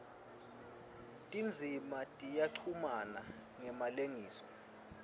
tindzima tiyachumana ngemalengiso